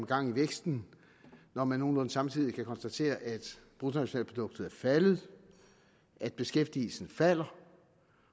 gang i væksten når man nogenlunde samtidig kan konstatere at bruttonationalproduktet er faldet at beskæftigelsen falder